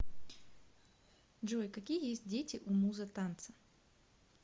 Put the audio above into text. джой какие есть дети у муза танца